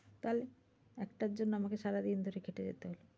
তাহলে? একটার জন্য আমাকে সারাদিন ধরে খেটে যেতে হচ্ছে।